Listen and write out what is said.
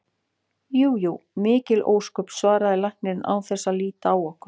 Jú jú, mikil ósköp, svaraði læknirinn án þess að líta á okkur.